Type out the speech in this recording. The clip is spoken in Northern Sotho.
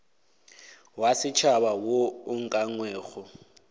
wa setšhaba wo o ukangwego